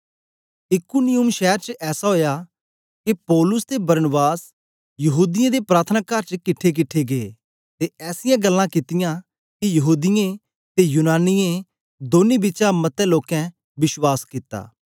इकुनियुम शैर च ऐसा ओया के पौलुस ते बरनबास यहूदीयें दे प्रार्थनाकार च किट्ठेकिट्ठे गै ते ऐसीयां गल्लां कित्तियां के यहूदीयें ते यूनानियें दौनीं बिचा मतें लोकें विश्वास कित्ता